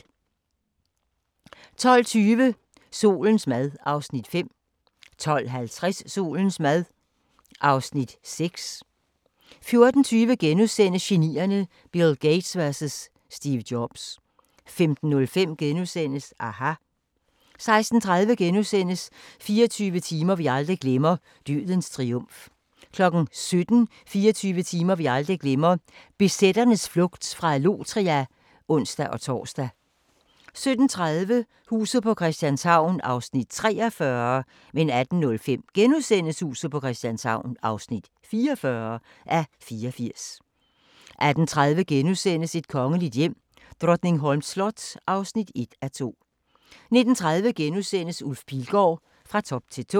12:20: Solens mad (Afs. 5) 12:50: Solens mad (Afs. 6) 14:20: Genierne: Bill Gates vs Steve Jobs * 15:05: aHA! * 16:30: 24 timer vi aldrig glemmer – Dødens triumf * 17:00: 24 timer vi aldrig glemmer – BZ'ernes flugt fra Allotria (ons-tor) 17:30: Huset på Christianshavn (43:84) 18:05: Huset på Christianshavn (44:84)* 18:30: Et kongeligt hjem: Drottningholms slot (1:2)* 19:30: Ulf Pilgaard – Fra top til tå *